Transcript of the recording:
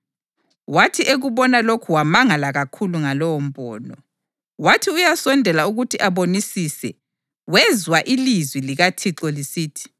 Wathi ekubona lokhu wamangala kakhulu ngalowombono. Wathi uyasondela ukuthi abonisise, wezwa ilizwi likaThixo lisithi: